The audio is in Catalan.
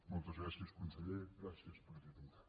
moltes gràcies conseller gràcies presidenta